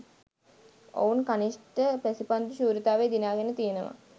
ඔවුන් කනිෂ්ඨ පැසිපන්දු ශූරතාවය දිනාගෙන තියෙනවා.